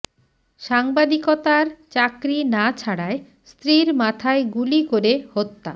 সাংবাদিকতার চাকরি না ছাড়ায় স্ত্রীর মাথায় গুলি করে হত্যা